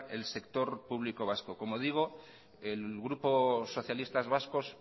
el sector público vasco como digo el grupo socialistas vascos